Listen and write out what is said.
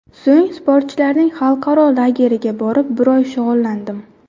So‘ng sportchilarning xalqaro lageriga borib, bir oy shug‘ullandim.